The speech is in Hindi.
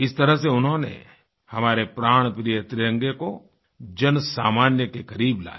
इस तरह से उन्होंने हमारे प्राणप्रिय तिरंगे को जनसामान्य के क़रीब लाया